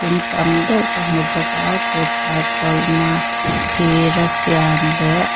in tam deuh ka hmu bawka thut hahchawlhna thira siam leh--